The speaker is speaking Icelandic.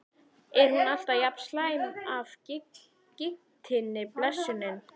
Er hún alltaf jafn slæm af gigtinni, blessunin?